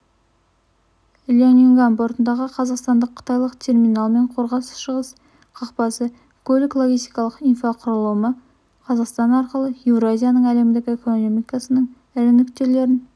ляньюнган портындағы қазақстандық-қытайлық терминал мен қорғас-шығыс қақпасы көлік-логистикалық инфрақұрылымы қазақстан арқылы еуразияның әлемдік экономикасының ірі нүктелерін